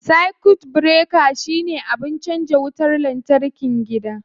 Circuit breaker shine abin canza wutar lantarkin gida.